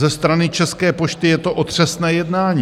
"Ze strany České pošty je to otřesné jednání.